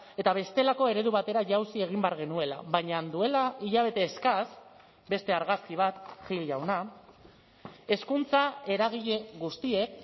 eta bestelako eredu batera jauzi egin behar genuela baina duela hilabete eskas beste argazki bat gil jauna hezkuntza eragile guztiek